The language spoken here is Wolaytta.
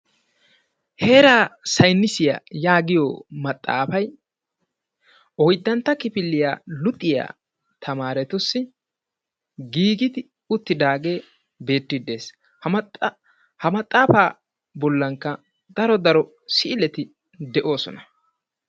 heeraa saynissiyaa yaagiyo maxaafay oyddantta kifiliya luxiyaa tamaaretussi giigi uttidaagee beettide dees. ha maxaafa bollankka daro daro siileti de'ossona.